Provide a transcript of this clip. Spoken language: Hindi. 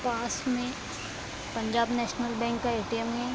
पास में पंजाब नेशनल बैंक का ए.टी.एम. है।